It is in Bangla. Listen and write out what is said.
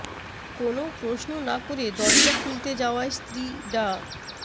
কোনও প্রশ্ন না করে দরজা খুলতে যাওয়ায় স্ত্রী ডা